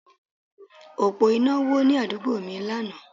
Òpó iná wó ní àdúgbò mi lánàá